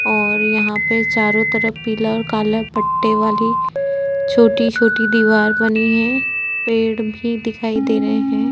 और यहाँ पे चारो तरफ पिला और काला पट्टीवाली छोटी-छोटी दीवार बनी है पेड़ भी दिखाई दे रहें हैं।